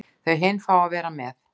Þau hin fá að vera með.